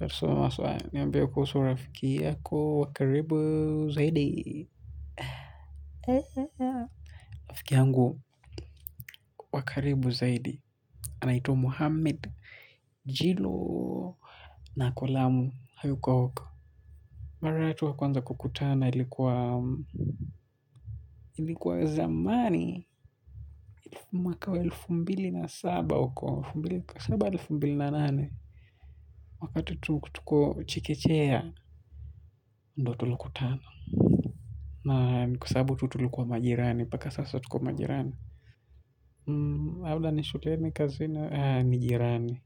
Wakati soa haswa niambie kuhusu rafiki wa karibu zaidi rafiki yangu wa karibu zaidi. Anaitwa Muhammad Jilo na ako lamu hayuko huku. Mara yetu ya kwanza kukutana ilikuwa zamani mwaka wa elfu mbili na saba huku saba elfu mbili na nane wakati tuko chekechea ndo tulikutana na ni kwa sababu tulikuwa majirani na mpaka sasa tupo majirani labda ni shuleni kazini. Ni jirani.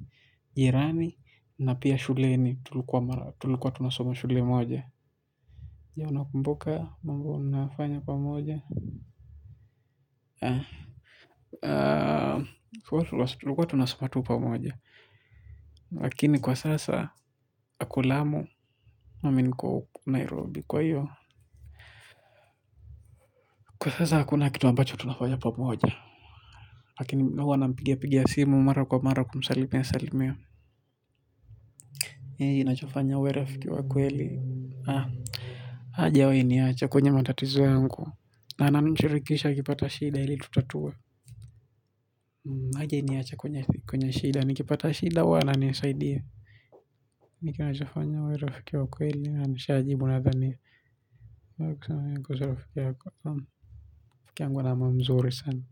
Jirani na pia shuleni. Tulikua tunasoma shule moja je unakumbuka mambo mnayofanya pamoja huwa tunasoma tu pamoja. Lakini kwa sasa ako lamu na mimi niko huku Nairobi kwa hiyo. Kwa sasa hakuna kitu ambacho tunafanya pamoja. Lakini huwa nampigia pigia simu mara kwa mara kumsalimia salimia nini inachofanya uwe rafiki wa kweli hajawahi niacha kwenye matatizo yangu na ananishirikisha akipata shida ili tutatue hajainiacha kwenye kwenye shida nikipata shida huwa ananisaidia nini kinnachofanya uwe rafiki wa kweli hiyo nishajibu nadhani unaweza kusema nini kuhusu rafiki yako rafiki yangu ana moyo mzuri sana.